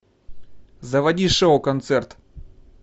заводи шоу концерт